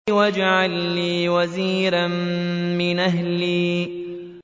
وَاجْعَل لِّي وَزِيرًا مِّنْ أَهْلِي